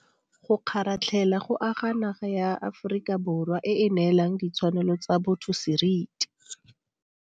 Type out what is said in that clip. Go kgaratlhela go aga naga ya Aforika Borwa e e neelang ditshwanelo tsa botho seriti.